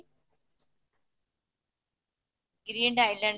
green iland